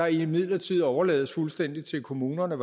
imidlertid overlades fuldstændig til kommunerne